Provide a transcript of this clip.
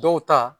Dɔw ta